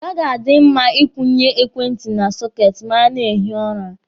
Ọ gaghị adị mma Ị kwụnye ekwentị na sọketi ma a na-ehi ụra.